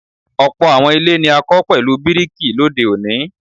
ọ̀pọ̀ àwọn ilé ní a kọ pẹlu bíríkì lòde òní